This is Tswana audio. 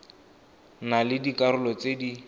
na le dikarolo tse di